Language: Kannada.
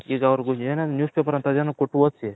ಈಗ ಅವರಿಗೆ ಏನನ News Paper ಅಂತ ಕೊಟ್ಟು ಓದ್ಸಿ